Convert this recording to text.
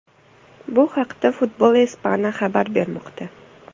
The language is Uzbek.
Bu haqda Football Espana xabar bermoqda.